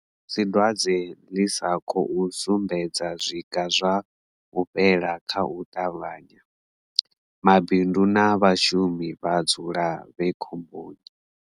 Musi dwadze ḽi sa khou sumbedza zwiga zwa u fhela kha u ṱavhanya, mabindu na vhashumi vha dzula vhe khomboni.